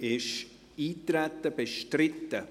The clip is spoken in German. Ist Eintreten bestritten?